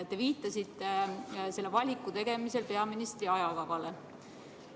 Te viitasite selle valiku tegemisel peaministri ajakavale.